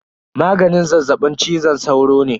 Maganin zazzaɓin cizon sauro ne.